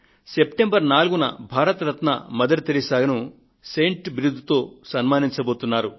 September 4న Bharat Ratna Mother టెరెసాను saint బిరుదుతో సన్మానించబోతున్నారు